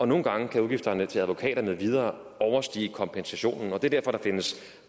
nogle gange kan udgifterne til advokater med videre overstige kompensationen og det er derfor der findes